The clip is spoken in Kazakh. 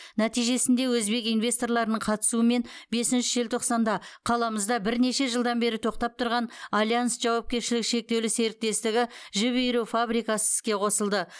нәтижесінде өзбек инвесторларының қатысуымен бесінші желтоқсанда қаламызда бірнеше жылдан бері тоқтап тұрған альянс жауапкершілігі шектеулі серіктестігі жіп иіру фабрикасы іске қосылды